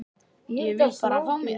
Ég vil bara fá mér.